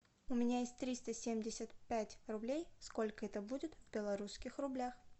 у меня есть триста семьдесят пять рублей сколько это будет в белорусских рублях